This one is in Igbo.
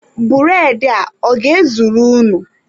Bụredị a, ọ ga-ezuru unu?